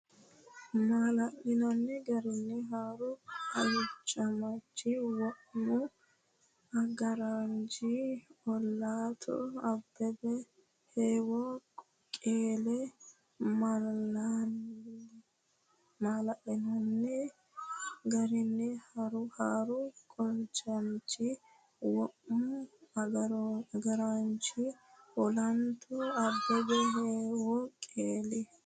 Maala’linanni garinni haaru qolchamaanchi womu agaraanchi olanto Abbebe heewo qeeli Maala’linanni garinni haaru qolchamaanchi womu agaraanchi olanto Abbebe heewo qeeli.